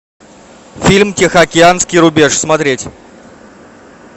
фильм тихоокеанский рубеж смотреть